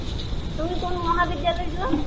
তুমি কোন মহাবিদ্য়ালয় যোৱা?